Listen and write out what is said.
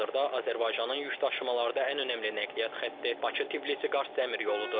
Hazırda Azərbaycanın yük daşımalarda ən önəmli nəqliyyat xətti Bakı-Tbilisi-Qars dəmir yoludur.